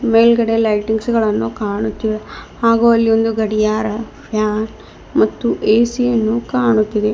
ಮೇಲ್ಗಡೆ ಲೈಟಿಂಗ್ಸ್ ಗಳನ್ನು ಕಾಣುತ್ತಿವೆ ಹಾಗೂ ಅಲ್ಲಿ ಒಂದು ಗಡಿಯಾರ ಫ್ಯಾನ್ ಮತ್ತು ಎಸಿ ಯನ್ನು ಕಾಣುತ್ತಿದೆ.